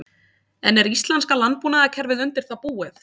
En er íslenska landbúnaðarkerfið undir það búið?